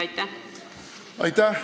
Aitäh!